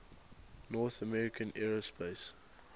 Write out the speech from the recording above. north american aerospace